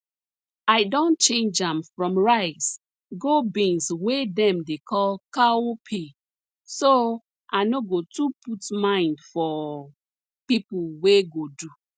i don change am from rice go beans wey dem dey call cowpea so i no go too put mind for pipo wey go do